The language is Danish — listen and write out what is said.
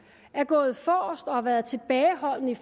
er gået forrest og har været tilbageholdende